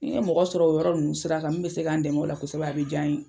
Ni ye mɔgɔ sɔrɔ o yɔrɔ ninnu sira kan min bɛ se k'an dɛmɛ o la kosɛbɛ a bɛ diya n ye.